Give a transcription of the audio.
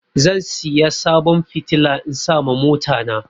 Zan siya sabon fitila in sa ma mota na